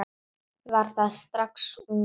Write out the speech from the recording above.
Var það strax ungur.